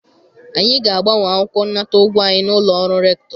anyị ga-agbanwe akwụkwọ nnata ụgwọ anyị n'ụlọ ọrụ rector.